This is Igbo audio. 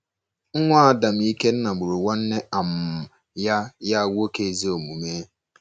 Nwa Adam Ikenna gburu nwanne um ya ya nwoke ezi omume.